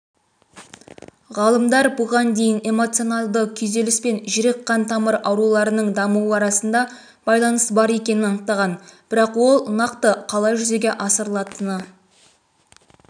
ғалымдар бұған дейін эмоционалды күйзеліс пен жүрек-қан тамыр ауруларының дамуы арасында байланыс бар екенін анықтаған бірақ ол нақты қалай жүзеге асырылатыны